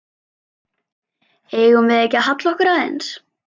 Eigum við ekki að halla okkur aðeins?